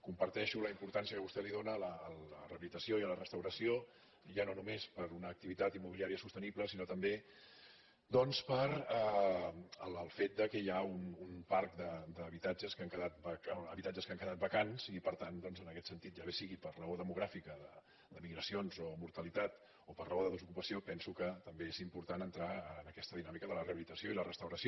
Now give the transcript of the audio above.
comparteixo la importància que vostè dóna a la rehabilitació i a la restauració ja no només per una activitat immobiliària sostenible sinó també doncs pel fet que hi ha un parc d’habitatges que han quedat vacants i per tant en aquest sentit ja bé sigui per raó demogràfica d’emigracions o mortalitat o per raó de desocupació penso que també és important entrar en aquesta dinàmica de la rehabilitació i la restauració